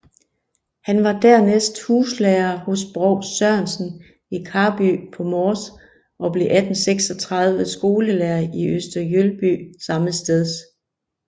Han var dernæst huslærer hos provst Sørensen i Karby på Mors og blev 1836 skolelærer i Øster Jølby sammesteds